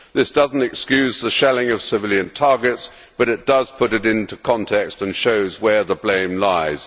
This does not excuse the shelling of civilian targets, but it does put it into context and shows where the blame lies.